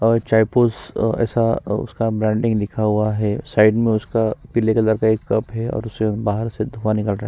और चायपूस अ ऎसा उसका ब्रांडिंग लिखा हुआ है साइड में उसका पीले कलर का एक कप है और उसे बाहर से धोवाने का ट्राई --